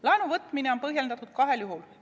Laenu võtmine on põhjendatud kahel juhul.